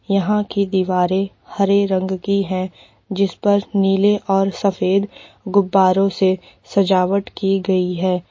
यहां की दीवारें हरे रंग की हैं जिस पर नीले और सफेद गुब्बारो से सजावट की गई है।